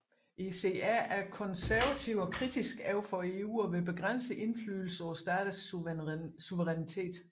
ECR er konservative og kritiske overfor EU og vil begrænse indflydelsen på staternes suverænitet